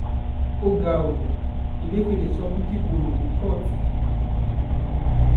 ó ga ọ́ ẹlẹ́fẹ́lẹ́ sunkún kíkorò ní kóòtù